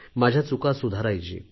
माझ्या चुका सुधारायची